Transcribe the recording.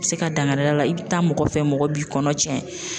Bi se ka dankari k'a la i bi taa mɔgɔ fɛ mɔgɔ b'i kɔnɔ tiɲɛ.